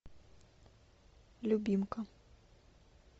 любимка